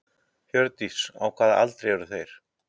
Hjördís: Á hvaða aldri eru þeir?